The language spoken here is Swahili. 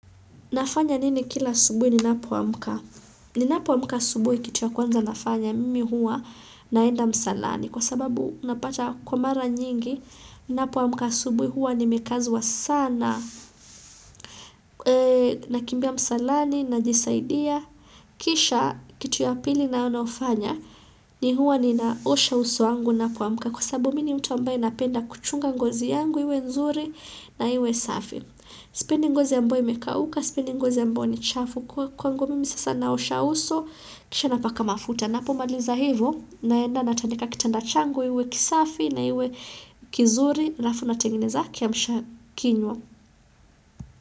Nafanya nini kila asubui ni napoa mka? Ni napoamka asubui kitu ya kwanza nafanya mimi huwa naenda msalani. Kwa sababu unapata kwa mara nyingi, ninapoa mka asubui huwa ni mekazwa sana na kimbia msalani na jisaidia. Kisha kitu ya pili nayo nayofanya ni huwa ni naosha uso wangu napoamka. Kwa sababu mini mtu ambaye napenda kuchunga ngozi yangu, iwe nzuri na iwe safi. Sipendi ngozi ambayo imekauka sipendi ngozi ambayo ni chafu kwa kwangu mimi sasa naosha uso kisha napaka mafuta na pomaliza hivo naenda na tandika kitanda changu iwe kisafi na iwe kizuri alafu na tengeneza kia msha kinywa.